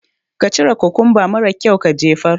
ka cire kukumba mara kyaun ka jefar.